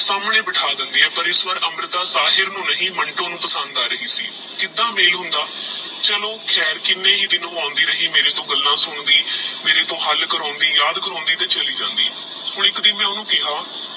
ਸਸਾਮਨੇ ਬੈਠਾ ਦੇਂਦੀ ਆਹ ਪਰ ਇਸ ਵਾਰ ਅਮਰਿਤਾ ਸਾਹਿਲ ਨੂ ਨੀ ਮਿੰਟੋ ਨੂਪਸੰਦ ਆ ਰਹੀ ਸੀ ਕੀੜਾ ਮੇਲ ਹੋਂਦਾ ਚਲੋ ਖੇਰ ਕੀਨੇ ਹੀ ਦਿਨ ਓਹ ਆਉਂਦੀ ਰਹੀ ਮੇਰੀ ਟੋਹ ਗੱਲਾਂ ਸੁਣਦੀ ਮੇਰੇ ਟੋਹ ਹੱਲ ਕਰਾਈਉਂਦੀ ਯਾਦ ਕਰਾਈਉਂਦੀ ਤਾ ਚਲੀ ਜਾਂਦੀ ਹੋਰ ਇਕ ਦਿਨ ਮੈਂ ਓਹਨੂੰ ਖਯਾ